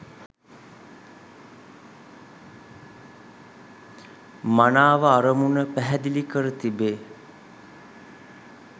මනාව අරමුණ පැහැදිලි කර තිබේ